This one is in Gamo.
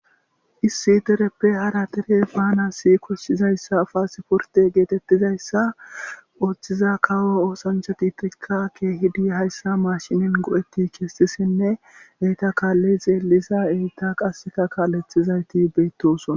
issi dereppe hara tere bana si koshshizayssa afasiporte geetettizayssa ooththiza kawo oosancha diitirikka keehidi hayssa maashinin go7etti kestissinne eyta kaalli xeellisa eyita qasseka kaalethizayti beettoson